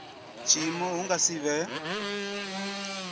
tshiimo hu nga si vhe